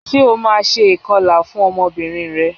Ṣé o ma ṣe ìkọlà fún ọmọbìnrin rẹ?